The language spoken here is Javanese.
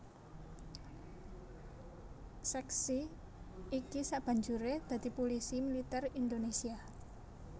Sèksi iki sabanjuré dadi Pulisi Militer Indonésia